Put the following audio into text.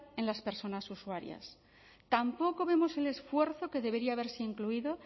en las personas usuarias tampoco vemos el esfuerzo que debería haberse incluido